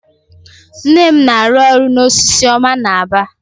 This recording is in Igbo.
Nne m na-arụ ọrụ na Osisioma n'Aba.